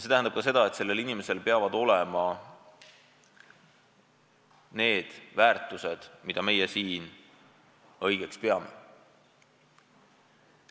See tähendab ka seda, et see inimene peab jagama neid väärtushinnanguid, mida meie siin õigeks peame.